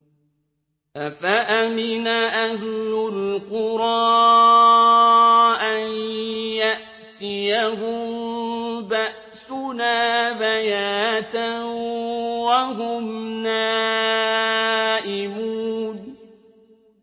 أَفَأَمِنَ أَهْلُ الْقُرَىٰ أَن يَأْتِيَهُم بَأْسُنَا بَيَاتًا وَهُمْ نَائِمُونَ